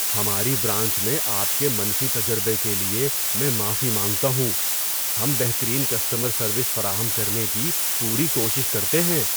ہماری برانچ میں آپ کے منفی تجربے کے لیے میں معافی مانگتا ہوں۔ ہم بہترین کسٹمر سروس فراہم کرنے کی پوری کوشش کرتے ہیں۔